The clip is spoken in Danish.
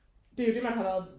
Det er jo man har været